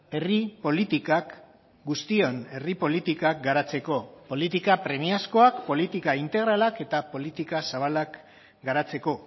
herri politikak guztion herri politikak garatzeko politika premiazkoak politika integralak eta politika zabalak garatzeko